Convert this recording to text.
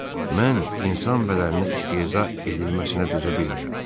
Mən insan bədəninə istehza edilməsinə dözə bilmirəm.